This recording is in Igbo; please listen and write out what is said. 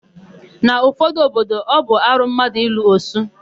N'ụfọdụ obodo, ọ bụ arụ mmadụ ịlụ osu.